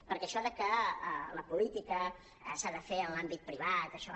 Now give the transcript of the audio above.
perquè això que la política s’ha de fer en l’àmbit privat això